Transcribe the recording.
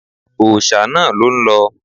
Òòṣà náà ló ń lọ